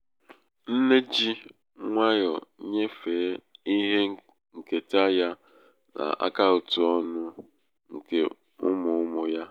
nne nne ji nwayọ nyefee um ihe nketa ya n'akaụtụ ọnụ́ nke ụmụụmụ ya